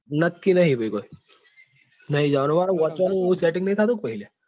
નક્કી નથી ભાઈ કોઈ નહિ જવા નું મારે વાંચવા નું નથી થતું પહી લ્યા.